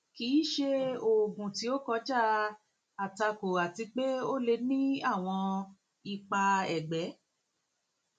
kì í ṣe oògùn tí ó kọjá àtakò àti pé ó lè ní àwọn ipa ẹgbẹ